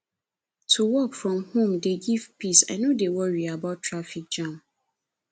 to work from home dey give me peace i no dey worry about traffic jam